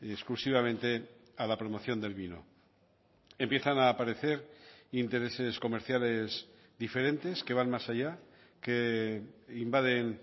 exclusivamente a la promoción del vino empiezan a aparecer intereses comerciales diferentes que van más allá que invaden